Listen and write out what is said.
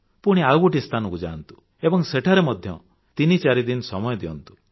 ପୁଣି ଆଉ ଗୋଟିଏ ସ୍ଥାନକୁ ଯାଆନ୍ତୁ ଏବଂ ସେଠାରେ ମଧ୍ୟ ତିନି ଚାରି ଦିନ ସମୟ ଦିଅନ୍ତୁ